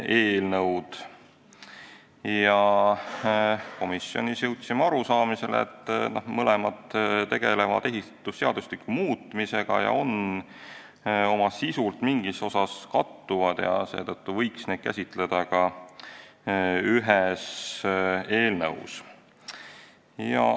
Jõudsime komisjonis arusaamisele, et mõlemad tegelevad ehitusseadustiku muutmisega ja kattuvad mingis osas oma sisult ning seetõttu võib neid ka ühes eelnõus käsitleda.